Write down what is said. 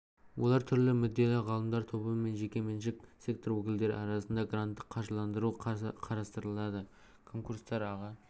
олар түрлі мүдделі ғалымдар тобы мен жекеменшік сектор өкілдері арасында гранттық қаржыландыруды қарастырады конкурстар аға